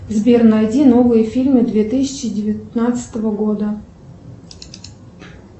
сбер найди новые фильмы две тысячи девятнадцатого года